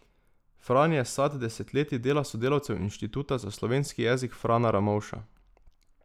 Fran je sad desetletij dela sodelavcev Inštituta za slovenski jezik Frana Ramovša.